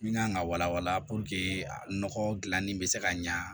Min kan ka wala wala nɔgɔ dilanni bɛ se ka ɲa